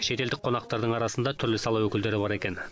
шетелдік қонақтардың арасында түрлі сала өкілдері бар екен